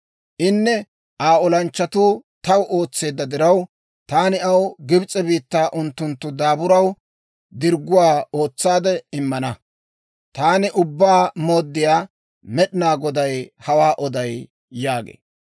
Inne Aa olanchchatuu taw ootseedda diraw, taani aw Gibs'e biittaa unttunttu daaburaw dirgguwaa ootsaade immana. Taani Ubbaa Mooddiyaa Med'inaa Goday hawaa oday› yaagee.